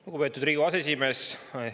Lugupeetud Riigikogu aseesimees!